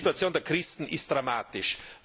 Und die Situation der Christen ist dramatisch.